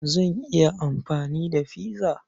Zan iya amfani da pizza.